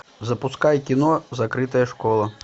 запускай кино закрытая школа